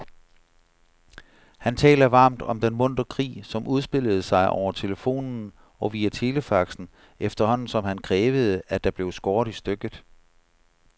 Han taler varmt om den muntre krig, som udspillede sig over telefonen og via telefaxen, efterhånden som han krævede, at der blev skåret i stykket.